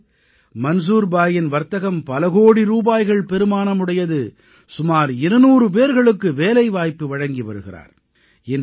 இன்று மன்சூர் பாயின் வர்த்தகம் பலகோடி ரூபாய்கள் பெறுமானமுடையது சுமார் 200 பேர்களுக்கு வேலைவாய்ப்பு வழங்கி வருகிறார்